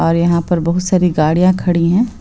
और यहाँ पर बहोत सारी गाड़ियां खड़ी हैं।